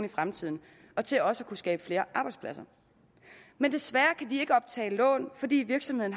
i fremtiden og til også at kunne skabe flere arbejdspladser men desværre kan de ikke optage lån fordi virksomheden